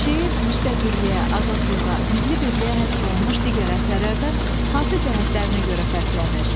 Şeir müstəqilliyə, azadlığa, milli birliyə həsr olunmuş digər əsərlərdən hansı cəhətlərinə görə fərqlənir?